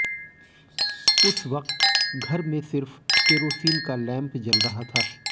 उस वक्त घर में सिर्फ केरोसीन का लैंप जल रहा था